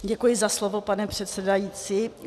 Děkuji za slovo, pane předsedající.